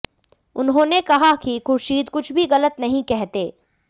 उन्होंने कहा कि खुर्शीद कुछ भी गलत नहीं कहते